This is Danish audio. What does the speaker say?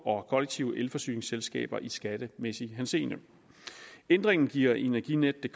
og kollektive elforsyningsselskaber i skattemæssig henseende ændringen giver energinetdk